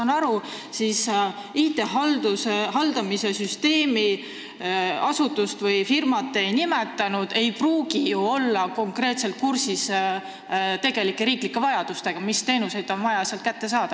Nagu ma aru saan, ei pruugi ju IT-süsteemi haldav asutus või firma, mida te ei nimetanud, konkreetselt kursis olla riigi tegelike vajadustega, st mis teenuseid on vaja sealt kätte saada.